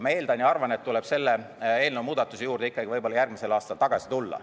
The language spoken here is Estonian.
Ma eeldan ja arvan, et tuleb selle eelnõu muudatuse juurde võib-olla järgmisel aastal tagasi tulla.